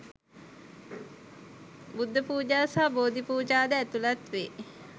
බුද්ධ පූජා සහ බෝධි පූජා ද ඇතුළත් වේ.